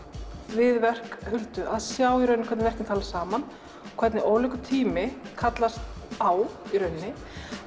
við verk Huldu að sjá hvernig verkin tala saman hvernig ólíkur tími kallast á í rauninni